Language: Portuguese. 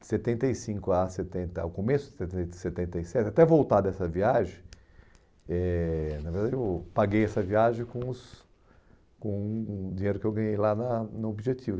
De setenta e cinco a setenta, ao começo de setenta e sete, até voltar dessa viagem, eh, na verdade, eu paguei essa viagem com os com o o dinheiro que eu ganhei lá na no objetivo.